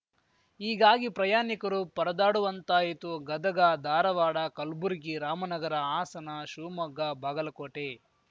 ಹೀಗಾಗಿ ಪ್ರಯಾನಿಕರು ಪರದಾಡುವಂತಾಯಿತು ಗದಗ ಧಾರವಾಡ ಕಲ್ಬುರ್ಗಿ ರಾಮನಗರ ಹಾಸನ ಶಿವಮೊಗ್ಗ ಬಾಗಲಕೋಟೆ